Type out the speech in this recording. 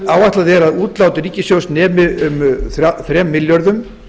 áætlað er að útlát ríkissjóðs nemi um þremur milljörðum